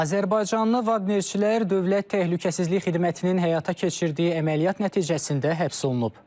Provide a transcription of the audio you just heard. Azərbaycanlı vadnerçilər Dövlət Təhlükəsizlik Xidmətinin həyata keçirdiyi əməliyyat nəticəsində həbs olunub.